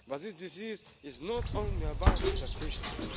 But this disease is not only about statistics.